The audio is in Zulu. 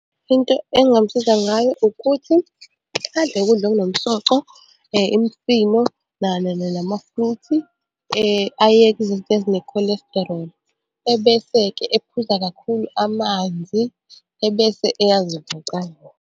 Into engingamsiza ngayo ukuthi adle ukudla okunomsoco, imifino nama-fruit, ayeke izinto ezine-cholesterol. Ebese-ke ephuza kakhulu amanzi, ebese eyazivocavoca.